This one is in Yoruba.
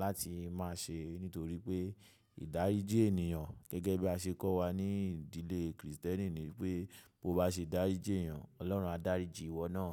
láti máa ṣe nítorí pé ìdáríjì ènìyàn gẹ́gẹ́ bí a ṣe kọ́ wa ní ìdílé Kristẹni ni wípé bó bá ṣe dáríjì ènìyàn, Ọlọ́run á dáríjì ìwọ náà.